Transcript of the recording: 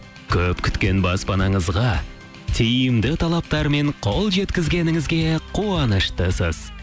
көп күткен баспанаңызға тиімді талаптар мен қол жеткізгеніңізге қуаныштысыз